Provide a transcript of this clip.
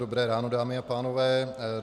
Dobré ráno, dámy a pánové.